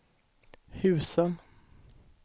husen